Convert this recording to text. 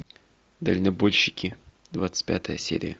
дальнобойщики двадцать пятая серия